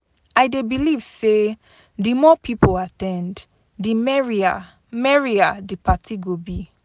I dey believe say di more people at ten d, di merrier merrier di party go be.